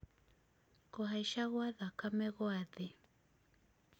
kũhaica gwa thakame gwa thĩ